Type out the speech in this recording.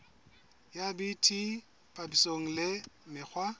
ya bt papisong le mekgwa